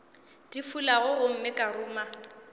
di fulago gomme ka ruma